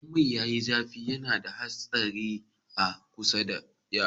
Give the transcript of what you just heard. Idan mai yayi zafi yana da ha tsari a kusa da yara